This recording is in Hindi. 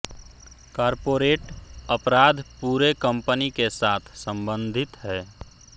कॉर्पोरेट अपराध पूरे कंपनी के साथ संबंधित है